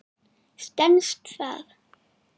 Stenst það?